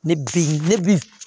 Ne bi ne bin